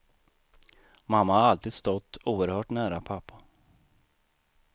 Mamma har alltid stått oerhört nära pappa.